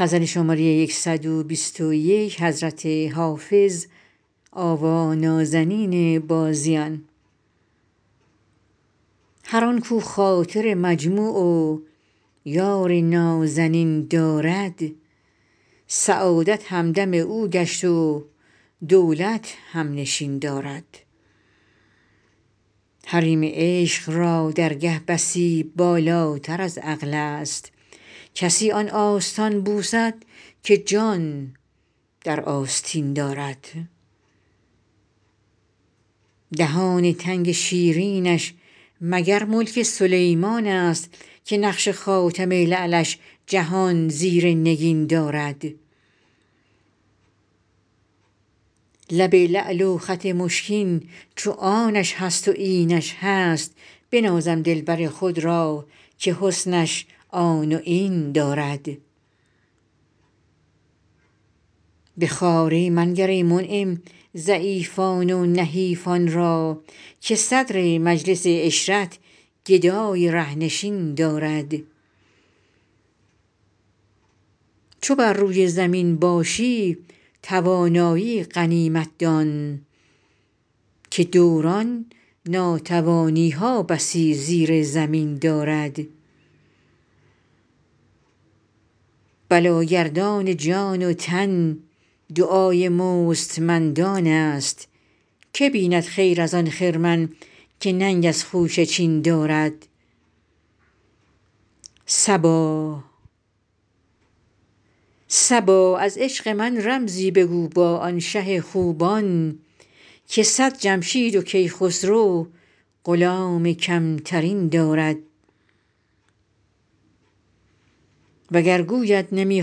هر آن کاو خاطر مجموع و یار نازنین دارد سعادت همدم او گشت و دولت هم نشین دارد حریم عشق را درگه بسی بالاتر از عقل است کسی آن آستان بوسد که جان در آستین دارد دهان تنگ شیرینش مگر ملک سلیمان است که نقش خاتم لعلش جهان زیر نگین دارد لب لعل و خط مشکین چو آنش هست و اینش هست بنازم دلبر خود را که حسنش آن و این دارد به خواری منگر ای منعم ضعیفان و نحیفان را که صدر مجلس عشرت گدای ره نشین دارد چو بر روی زمین باشی توانایی غنیمت دان که دوران ناتوانی ها بسی زیر زمین دارد بلاگردان جان و تن دعای مستمندان است که بیند خیر از آن خرمن که ننگ از خوشه چین دارد صبا از عشق من رمزی بگو با آن شه خوبان که صد جمشید و کیخسرو غلام کم ترین دارد وگر گوید نمی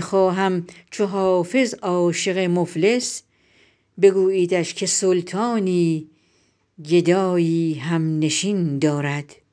خواهم چو حافظ عاشق مفلس بگوییدش که سلطانی گدایی هم نشین دارد